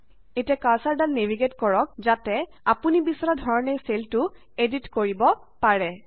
এতিয়া কাৰ্ছৰদাল নেভিগেইট কৰক যাতে আপুনি বিচৰা ধৰণে চেলটো এদিত কৰিব পাৰে